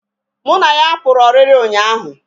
Mụ na ya pụrụ ọrịrị ụnyaahụ